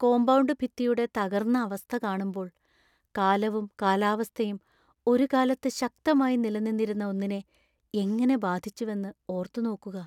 Compound ഭിത്തിയുടെ തകർന്ന അവസ്ഥ കാണുമ്പോൾ, കാലവും കാലാവസ്ഥയും ഒരു കാലത്ത് ശക്തമായി നിലനിന്നിരുന്ന ഒന്നിനെ എങ്ങനെ ബാധിച്ചുവെന്ന് ഓര്‍ത്തുനോക്കുകാ.